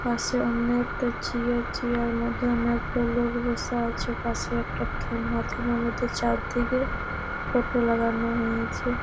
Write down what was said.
পাশে অনেকটা chair. Chair -এর মধ্যে অনেক গুলা লোক বসে আছে। পাশে একটা থাম্বা থাম্বা মধ্যে চারদিকে ফটো লাগানো হয়েছে।